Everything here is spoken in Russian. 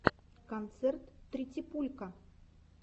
концерт тритипулька